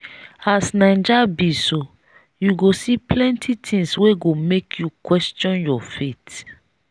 as naija be so you go see plenty tins wey go make you question your faith.